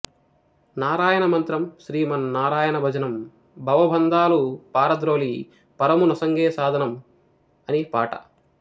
నారాయణ మంత్రం శ్రీమన్నారాయణ భజనం భవబంధాలు పారద్రోలి పరము నొసంగే సాధనం అని పాట